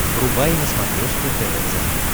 врубай на смотрешке тв центр